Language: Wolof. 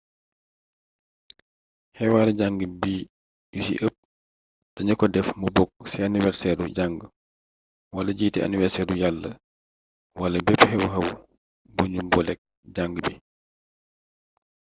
xewaare jàngu bi yu ci ëpp danu ko def mu bokk ci aniwerseeru jàngu walajiite aniwerseeru yàlla wala bepp xew-xew bu nu booleek jàngu bi